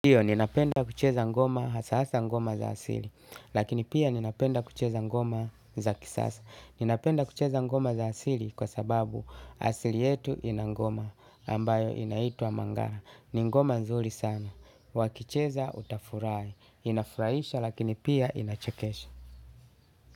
Hiyo ninapenda kucheza ngoma hasa hasa ngoma za asili. Lakini pia nina penda kucheza ngoma za kisasa. Ninapenda kucheza ngoma za asili kwa sababu asili yetu ina ngoma ambayo inaitua mangaha. Ni ngoma nzuri sana. Wakicheza utafurahi. Inafuraisha lakini pia inachekesha.